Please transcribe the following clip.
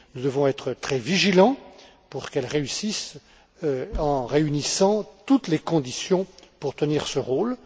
Nous devons être très vigilants pour qu'elles réussissent en réunissant toutes les conditions pour tenir ce rôle.